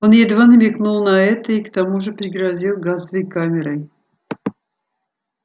он едва намекнул на это и к тому же пригрозил газовой камерой